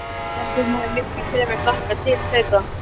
Ég held að hún hafi miklu fremur hlakkað til þeirra.